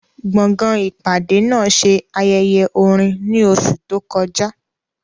Gbọ̀ngàn ìpàdé náà ṣe ayẹyẹ orin ní oṣù tó kọjá.